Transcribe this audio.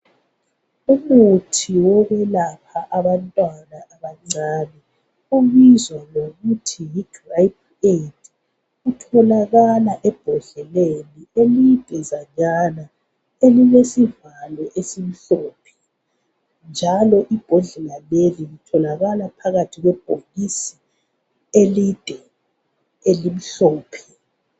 Umuthi wokwelapha abantwana abancane. Ubizwa ngokuthi yi Gripe Aid. Utholakala ebhodleleni lidezanyana elilesivalo esimhlophe njalo ibhodlela leli litholakala phakathi kwebhokisi elide elimhlophe.